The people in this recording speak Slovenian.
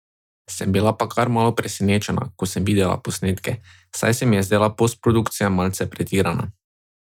Sem bila pa kar malo presenečena, ko sem videla posnetke, saj se mi je zdela postprodukcija malce pretirana.